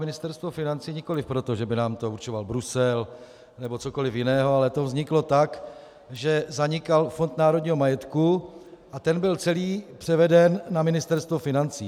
Ministerstvo financí nikoliv proto, že by nám to určoval Brusel nebo cokoliv jiného, ale to vzniklo tak, že zanikal Fond národního majetku a ten byl celý převeden na Ministerstvo financí.